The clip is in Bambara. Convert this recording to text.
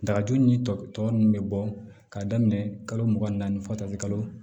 Dagaju ni tɔ ninnu bɛ bɔ k'a daminɛ kalo mugan ni naani fɔ ta se kalo